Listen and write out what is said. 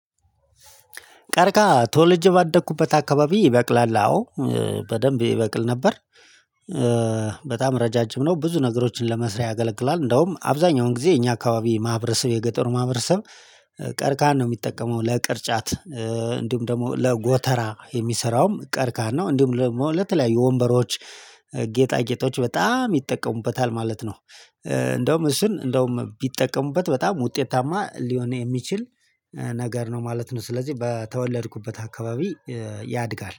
ቀርቃሃ ተወልጄ ባደኩበት አካባቢ ይበቅላል አዎ በደንብ ይበቅል ነበር። ረጃጅም ነው ብዙ ነገሮችን ለመስሪያ ያገለግላል እንደውም አብዛኛውን ጊዜ የኛ አካባቢ ማህበረሰብ የገጠሩ ማህበረሰብ ቀርካሃን ነው የሚጠቀመው ለቅርጫት እንዲሁም ደግሞ ለጎተራ የሚሰራውም ቀርካሃን እንደውም ለተለያዩ ወንበሮች ጌጣ ጌጦች በጣም ይጠቀሙበታል ማለት ነው። እንደውም እሱን እንደውም ቢጠቀሙበት በጣም ውጤታማ ሊሆን የሚችል ነገር ነው ማለት ነው። ስለዚህ በተወለድኩበት አካባቢ ያድጋል